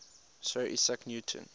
sir isaac newton